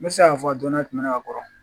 N bɛ se k'a fɔ don dɔ tɛmɛna ka kɔrɔ